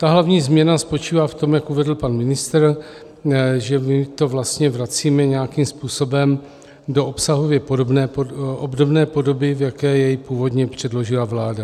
Ta hlavní změna spočívá v tom, jak uvedl pan ministr, že my to vlastně vracíme nějakým způsobem do obsahově obdobné podoby, v jaké jej původně předložila vláda.